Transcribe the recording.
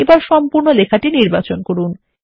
এবারসম্পূর্ণ লেখাটি নির্বাচন করুন